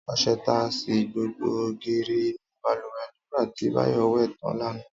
Ọṣẹ ta sí gbogbo ògiri inú bàlùwẹ̀ nígbà tí Báyọ̀ wẹ̀ tán lánàá